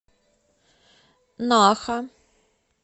наха